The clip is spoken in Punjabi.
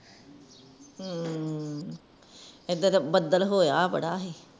ਹੂ ਏਦਰ ਤਾਂ ਬਦਲ ਹੋਇਆ ਬੜਾ ਸੀ